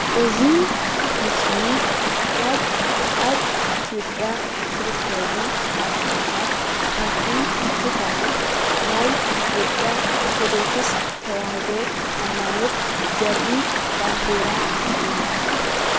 እዚ ምስሊ ካብ ኣብ ኢትዮጵያ ዝርከቡ ሃይማኖታት ሓንቲ ዝኮነት ናይ ኢትዮጵያ ኦርቶዶክስ ተዋህዶ ሃይማኖት ዘርኢ ባንዴራ እዩ።